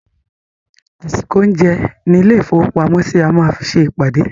Àsìkò oúnjẹ ní ilé-ìfowópamọ́sí, a máa fi se ìpàdé.